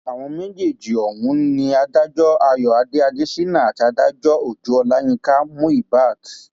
àwọn méjèèjì ọhún ni adájọ àyọadé adéṣínà àti adájọ ọjọ ọlàyinka muíbat